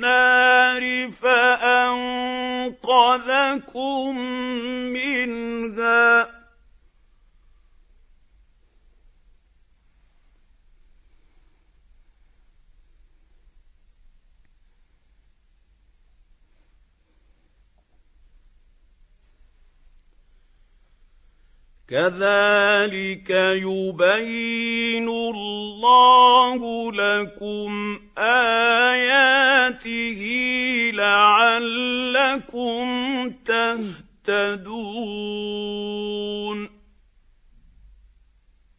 النَّارِ فَأَنقَذَكُم مِّنْهَا ۗ كَذَٰلِكَ يُبَيِّنُ اللَّهُ لَكُمْ آيَاتِهِ لَعَلَّكُمْ تَهْتَدُونَ